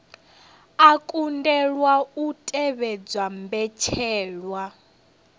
a kundelwa u tevhedza mbetshelwa